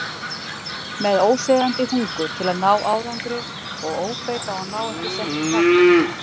Með óseðjandi hungur til að ná árangri og óbeit á að ná ekki settu takmarki.